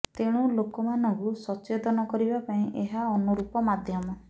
ତେଣୁ ଲୋକମାନଙ୍କୁ ସଚେତନ କରିବା ପାଇଁ ଏହା ଅନୁରୂପ ମାଧ୍ୟମ